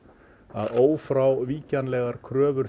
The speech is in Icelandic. að ófrávíkjanlegar kröfur